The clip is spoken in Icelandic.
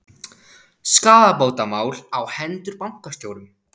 Skaðabótamál á hendur bankastjórum